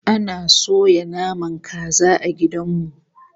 Ana soya naman kaza a gidan mu